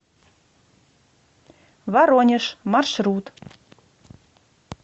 воронеж маршрут